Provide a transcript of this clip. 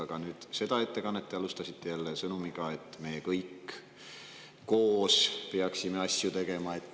Aga seda ettekannet te alustasite jälle sõnumiga, et meie kõik koos peaksime asju tegema.